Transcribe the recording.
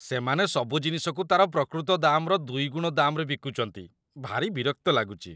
ସେମାନେ ସବୁ ଜିନିଷକୁ ତା'ର ପ୍ରକୃତ ଦାମ୍‌ରଦୁଇଗୁଣ ଦାମ୍‌ରେ ବିକୁଚନ୍ତି । ଭାରି ବିରକ୍ତ ଲାଗୁଚି ।